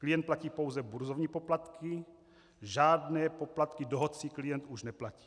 Klient platí pouze burzovní poplatky, žádné poplatky dohodci klient už neplatí.